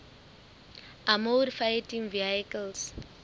armoured fighting vehicles